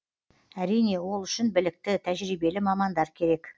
әрине ол үшін білікті тәжірибелі мамандар керек